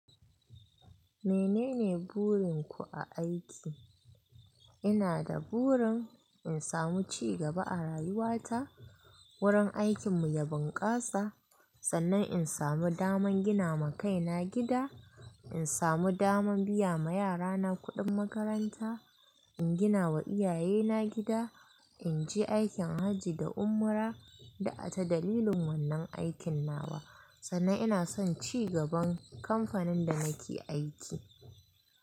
Menene burin ku a aiki? Ina da burin in samu cigaba a rayuwa ta, wurin aikin mu ya bunƙasa, sannan in samu daman gina ma kaina gida, in samu dama biya ma yarana kuɗin makaranta, in gina ma iyaye na gida, in je aikin hajji da umra da ata dalilin wannan aikin nawa, sannan ina son cigaban kamfanin da nake aiki.